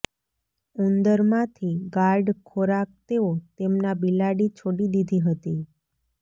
ઉંદર માંથી ગાર્ડ ખોરાક તેઓ તેમના બિલાડી છોડી દીધી હતી